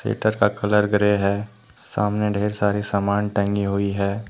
का colour grey है सामने ढेर सारे सामान टंगी हुई है।